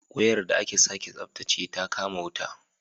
Wayar da aka sake tsabtace ta kama wuta